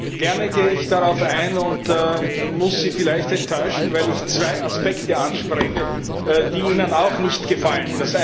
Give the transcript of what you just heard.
Gerne gehe ich darauf ein und muss Sie vielleicht enttäuschen, weil ich zwei Aspekte anspreche, die Ihnen auch nicht gefallen.